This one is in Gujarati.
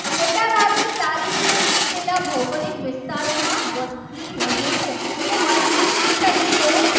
આ સારી રીતે વિકસેલા ભૌગોલિક વિસ્તારોમાં વસ્તી રહે છે. તો વસ્તીના સજીવો